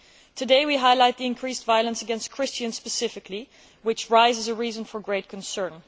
Today, we highlight the increased violence against Christians specifically, which provides a reason for great concern.